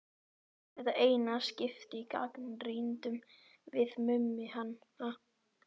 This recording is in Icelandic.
Í þetta eina skipti gagnrýndum við Mummi hana.